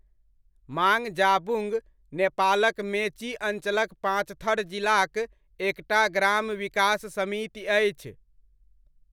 माङजाबुङ्ग, नेपालक मेची अञ्चलक पाँचथर जिलाक एकटा ग्राम विकास समिति अछि।